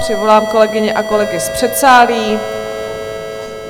Přivolám kolegyně a kolegy z předsálí.